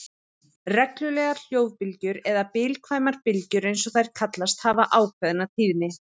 Reglulegar hljóðbylgjur, eða bilkvæmar bylgjur eins og þær kallast, hafa ákveðna tíðni.